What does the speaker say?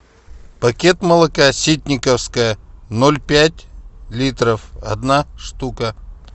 пакет молока ситниковское ноль пять литров одна штука